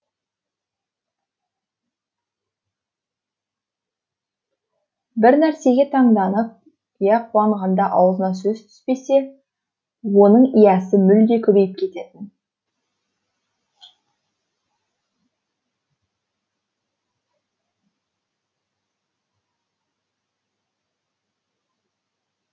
бір нәрсеге таңданып иә қуанғанда аузына сөз түспесе оның иәсі мүлде көбейіп кететін